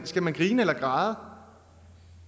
skal man grine eller græde